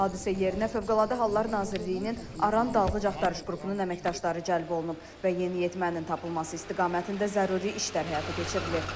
Hadisə yerinə Fövqəladə Hallar Nazirliyinin Aran Dalğıc Axtarış qrupunun əməkdaşları cəlb olunub və yeniyetmənin tapılması istiqamətində zəruri işlər həyata keçirilir.